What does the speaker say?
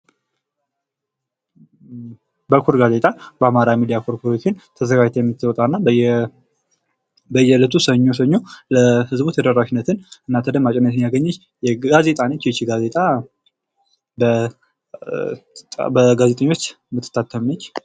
በኩር ጋዜጣ በአማራ ሚዳ ኮርፖሬሽን ተዘጋጅታ የምትወጣና በየእለቱ ሰኞ ሰኞ ለህዝቡ ተደራሽነትን እና ተደማጭነትን ያገኘች ጋዜጣ ነች። ይቺ ጋዜጣ በጋዜጠኞች የምትታተም ነች።